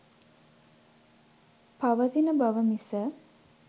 පවතින බව මිස